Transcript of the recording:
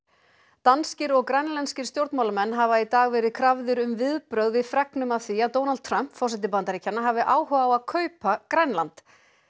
danskir og grænlenskir stjórnmálamenn hafa í dag verið krafðir um viðbrögð við fregnum af því að Donald Trump forseti Bandaríkjanna hafi áhuga á að kaupa Grænland